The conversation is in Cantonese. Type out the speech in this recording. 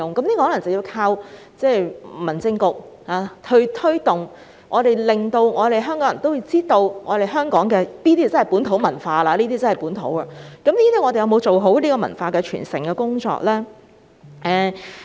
這可能真的有賴民政事務局作出推動，讓香港人了解香港的本土文化，但政府有否做好文化傳承的工作呢？